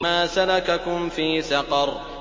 مَا سَلَكَكُمْ فِي سَقَرَ